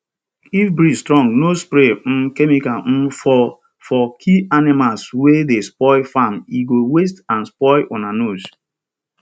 if breeze strong no spray um chemical um for for kill animals wey dey spoil farm e go waste and spoil una nose